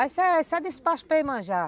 Isso é despacho para Iemanjá